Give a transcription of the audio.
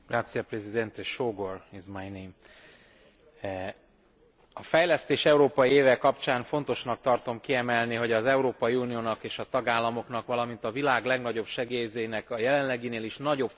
A Fejlesztés Európai Éve kapcsán fontosnak tartom kiemelni, hogy az Európai Uniónak és a tagállamoknak, valamint a világ legnagyobb segélyezőjének a jelenleginél is nagyobb figyelmet kellene fordítaniuk az emberi jogok érvényesülésére.